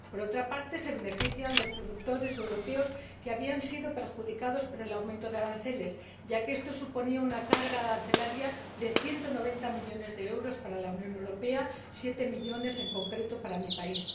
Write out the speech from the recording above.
Por otra parte, se benefician los productores europeos que se habían visto perjudicados por el aumento de aranceles, ya que esto suponía una carga arancelaria de 190 millones de euros para la Unión Europea —siete millones, en concreto, para mi país—.